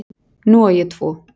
Nú á ég tvo